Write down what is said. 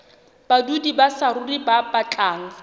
badudi ba saruri ba batlang